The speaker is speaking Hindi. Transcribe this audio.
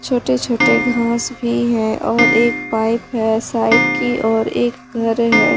छोटे छोटे घास भी है और एक पाइप है साइड की और एक घर है।